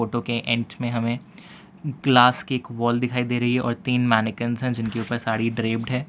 के एंट में हमें ग्लास की एक वॉल दिखाई दे रही है और तीन मानिकेन्स हैं जिनके ऊपर साड़ी ड्रेब्द है।